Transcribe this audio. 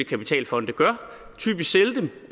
kapitalfonde gør